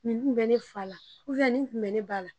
Nin kun be ne fa la ubiyɛn nin kun be ne ba la